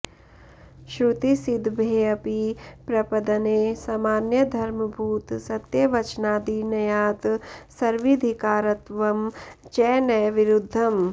श्रुतिसिद्भेऽपि प्रपदने सामान्य धर्मभूत सत्यवचनादि नयात् सर्वीधिकारत्वं च न विरुद्धम्